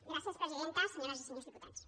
gràcies presidenta senyores i senyors diputats